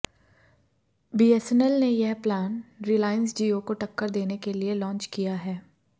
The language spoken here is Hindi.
बीएसएनएल ने यह प्लान रिलायंस जियो को टक्कर देने के लिए लॉन्च किया है